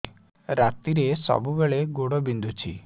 ରାତିରେ ସବୁବେଳେ ଗୋଡ ବିନ୍ଧୁଛି